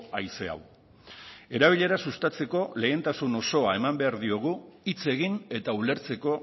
haize hau erabilera sustatzeko lehentasun osoa eman behar diogu hitz egin eta ulertzeko